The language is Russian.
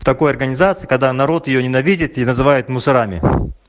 в такой такой организации когда народ её ненавидит и называют мусорами